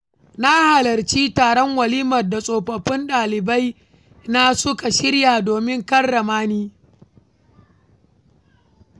Na halarci taron walimar da tsofaffin ɗalibaina suka shirya domin karrama ni.